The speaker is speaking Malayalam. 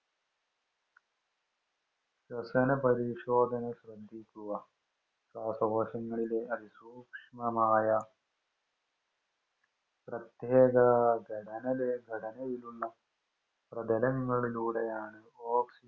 ശ്വസന പരിശോധന ശ്രദ്ധിക്കുക ശ്വാസകോശങ്ങളിലെ അതിസൂക്ഷ്മമായ പ്രത്യേക ഘടനയിലുള്ള പ്രതലങ്ങളിലൂടെയാണ് ഓക്സിജൻ